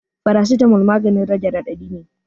Farasitamol maganin rage raɗaɗi ne